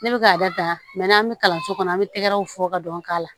Ne bɛ k'a da n'an bɛ kalanso kɔnɔ an bɛ tɛgɛw fɔ ka dɔn k'a la